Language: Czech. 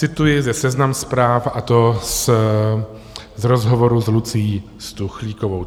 Cituji ze Seznam Zpráv, a to z rozhovoru s Lucií Stuchlíkovou.